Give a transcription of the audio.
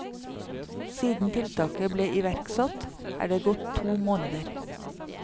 Siden tiltaket ble iverksatt, er det gått to måneder.